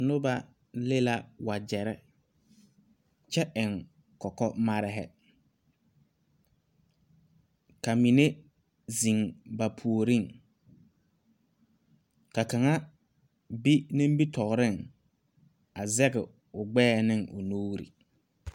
Noba leŋ la wagyɛre kyɛ eŋ kɔkɔmare, ka mine zeŋ ba puoriŋ, ka kaŋa be nimitɔreŋ a zege o gbɛɛ ne o nuuri.